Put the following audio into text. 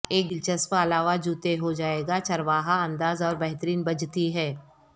ایک دلچسپ علاوہ جوتے ہو جائے گا چرواہا انداز اور بہترین بجتی ہے